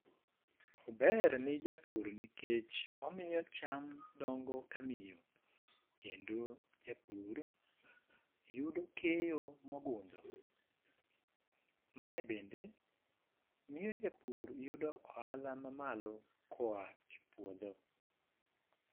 Ober ne japur ni kech omiyo cham dongo ka miyo, kendo japur yudo keyo mo ogundho. Ma bende miyo japur yudo ohala malo ko oa e puodho.